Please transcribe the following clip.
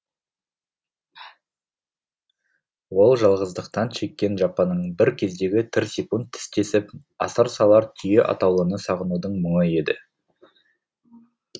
ол жалғыздықтан шеккен жапаның бір кездегі тірсек тістесіп асыр салар түйе атаулыны сағынудың мұңы еді